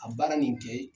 Ka baara nin kɛ